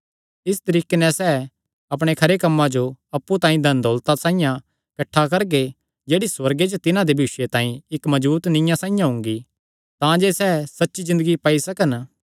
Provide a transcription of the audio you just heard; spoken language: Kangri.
इस तरीके नैं सैह़ अपणे खरे कम्मां जो अप्पु तांई धनदौलता साइआं किठ्ठा करगे जेह्ड़ी सुअर्गे च तिन्हां दे भविष्य तांई इक्क मजबूत नीआं साइआं हुंगी तांजे सैह़ सच्ची ज़िन्दगी पाई सकन